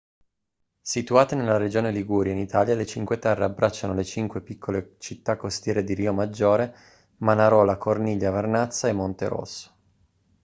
situate nella regione liguria in italia le cinque terre abbracciano le cinque piccole città costiere di riomaggiore manarola corniglia vernazza e monterosso